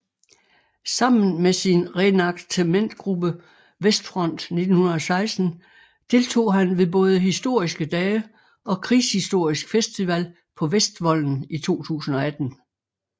Sammen med sin reenactmentgruppe Westfront 1916 deltog han ved både Historiske Dage og Krigshistorisk Festival på Vestvolden i 2018